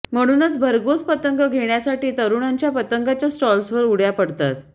म्हणूनच भरघोस पतंग घेण्यासाठी तरुणांच्या पतंगांच्या स्टॉल्सवर उडय़ा पडतात